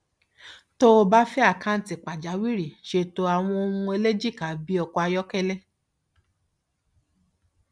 tó o bá fẹ àkáǹtì pàjáwìrì ṣètò àwọn ohun ẹlẹjìká bí ọkọ ayọkẹlẹ